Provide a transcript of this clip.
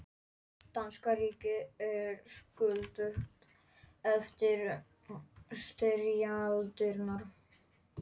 Danska ríkið er skuldugt eftir styrjaldirnar.